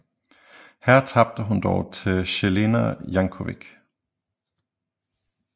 Her tabte hun dog til Jelena Janković